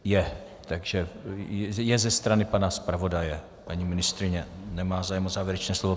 Je, je ze strany pana zpravodaje, paní ministryně nemá zájem o závěrečné slovo.